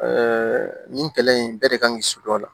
nin kɛlɛ in bɛɛ de kan ka kisi dɔ la